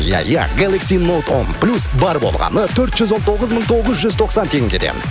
ия ия гелакси ноут он плюс бар болғаны төрт жүз он тоғыз мың тоғыз жүз тоқсан теңгеден